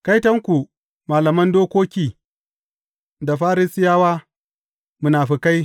Kaitonku, malaman dokoki da Farisiyawa, munafukai!